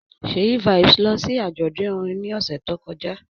Ṣèyí Vibez lọ sí àjọ̀dún orin ní ọ̀sẹ̀ tó kọjá